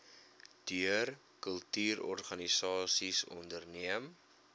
deur kultuurorganisasies onderneem